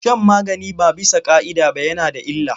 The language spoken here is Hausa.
Shan magani ba bisa ƙa'ida ba yana da illa.